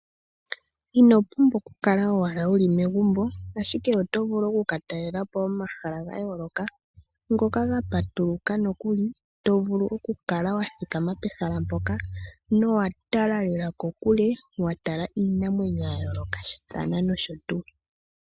Ino pumbwa oku kala owala wuli megumbo ashike oto vulu oku ka talela po omahala ga yooloka, ngoka ga patuluka nokuli to vulu oku kala wa thikama pehala mpoka nowa tala lela kokule, wa tala iinamwenyo ya yoolokathana nosho tuu.